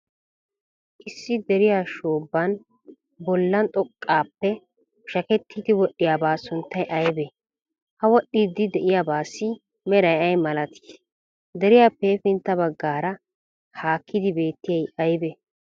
Issi deriya shoobban bollan xoqqaappe pushakettiiddi wodhdhiyabaa sunttay aybee? Ha wodhdhiiddi de'iyabaassi meray ay malatii? Deriyaappe hefintta baggaara haakkidi beettiyay aybee?